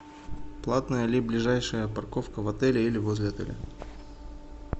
платная ли ближайшая парковка в отеле или возле отеля